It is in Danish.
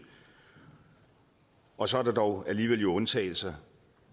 og så er der dog alligevel undtagelser